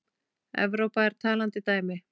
Evrópa er talandi dæmi.